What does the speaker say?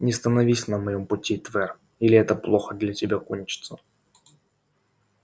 не становись на моем пути твер или это плохо для тебя кончится